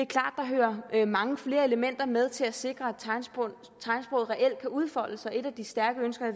er at mange flere elementer med til at sikre at tegnsproget reelt kan udfolde sig et af de stærke ønsker